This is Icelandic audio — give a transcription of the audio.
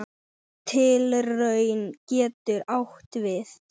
Tilraun getur átt við